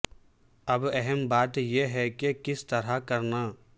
اب اہم بات یہ ہے کہ یہ کس طرح کرنا